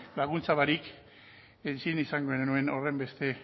laguntza barik ezin izango genuen horrenbesteko